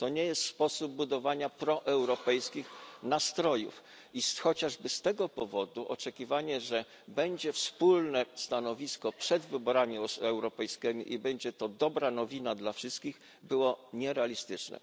To nie jest sposób budowania proeuropejskich nastrojów i chociażby z tego powodu oczekiwanie, że wspólne stanowisko zostanie wypracowane przed wyborami europejskimi i będzie to dobra nowina dla wszystkich, było nierealistyczne.